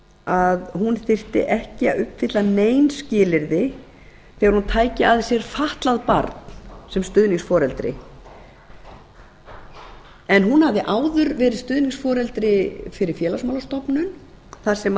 að hún þyrfti ekki að uppfylla nein skilyrði þegar hún tæki að sér fatlað barn sem stuðningsforeldri hún hafði áður verið stuðningsforeldri fyrir félagsmálastofnun þar sem